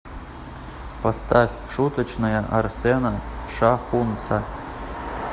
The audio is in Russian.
поставь шуточная арсена шахунца